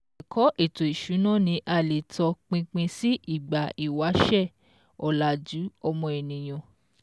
Ẹ̀kọ́ ètò ìsúna ní a lè tọ pinpin si ìgbà ìwáṣẹ̀ ọ̀làjú ọmọ ènìyàn